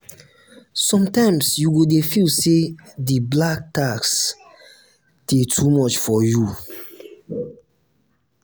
sometimes you go dey feel say di black tax dey too much for you.